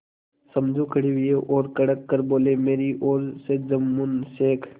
समझू खड़े हुए और कड़क कर बोलेमेरी ओर से जुम्मन शेख